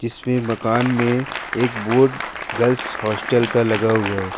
इसपे मकान मेंभी एक बोर्ड गर्ल्स हॉस्टल का लगा हुआ है।